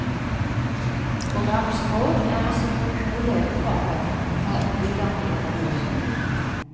Programmets mål er å sikre gode leveforhold for innbyggerne i regionen.